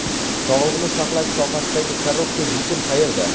Sog‘liqni saqlash sohasidagi korrupsiya: yechim qayerda?.